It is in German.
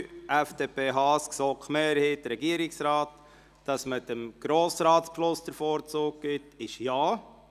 Wer dem Antrag FDP und GSoK-Mehrheit/Regierungsrat folgen und dem Grossratsbeschluss den Vorzug geben will, stimmt Ja.